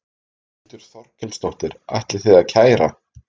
Þórhildur Þorkelsdóttir: Ætlið þið að kæra?